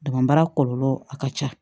Dama baara kɔlɔlɔ a ka ca